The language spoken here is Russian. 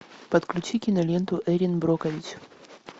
подключи киноленту эрин брокович